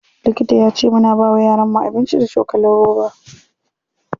Likita yace muna bawa yaron mu abinci da cokalin roba.